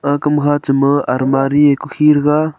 aga kam chama almari kukhi thega.